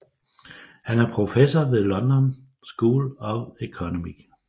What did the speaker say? Han er professor ved London School of Economics